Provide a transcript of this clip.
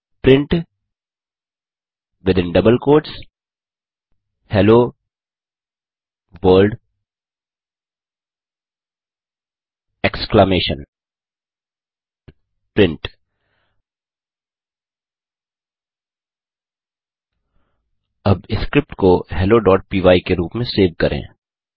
print within double quotes hello world exclamation print अब script को helloपाय के रूप में सेव करें